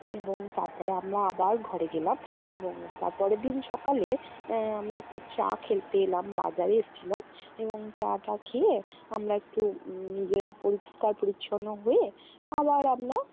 এবং তারপরে আমরা আবার ঘরে গেলাম এবং তারপরের দিন সকালে আহ আমরা একটু চা খেলতে এলাম, বাজারে এসছিলাম এবং চা টা খেয়ে আমরা একটু নিজেরা পরিষ্কার পরিচ্ছন্ন হয়ে আবার আমরা